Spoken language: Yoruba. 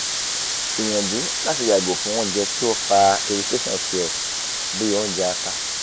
gbiyanju lati yago fun ounje ti o fa irriation si o bi onjẹ ata